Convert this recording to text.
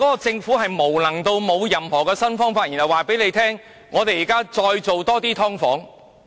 政府原來無能至此，沒有任何新方法，只是對市民說要推出更多"劏房"。